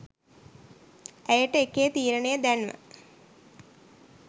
ඇයටඑකේ තීරණය දැන්ව